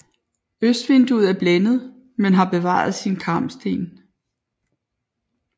Østvinduet er blændet men har bevaret sine karmsten